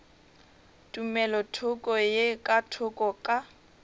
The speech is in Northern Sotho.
tumelothoko ye ka thoko ka